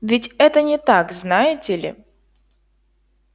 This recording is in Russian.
ведь это не так знаете ли